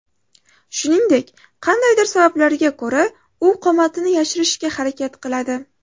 Shuningdek, qandaydir sabablarga ko‘ra u qomatini yashirishga harakat qiladi.